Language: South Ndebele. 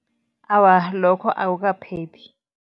Awa, lokho akukaphephi.